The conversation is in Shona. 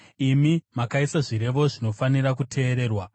Imi makaisa zvirevo zvinofanira kuteererwa.